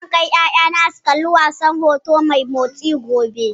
Zan kai ƴaƴana su kalli wasan hoto mai motsi, gobe.